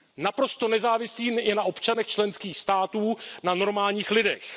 Naprosto nezávislými na občanech členských států, na normálních lidech.